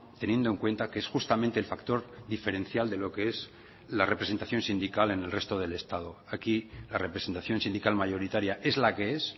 teniendo en cuenta que es justamente el factor diferencial de lo que es la representación sindical en el resto del estado aquí la representación sindical mayoritaria es la que es